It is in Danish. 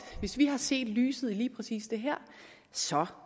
hvis de har set lyset i lige præcis det her så